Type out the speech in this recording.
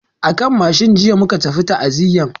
A kan mashin jiya muka tafi ta'aziyan.